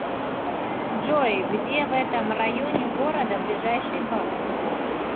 джой где в этом районе города ближайший банк